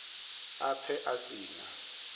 a pfe a si na